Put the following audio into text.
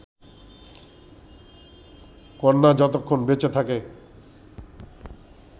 কন্যা যতক্ষণ বেঁচে থাকে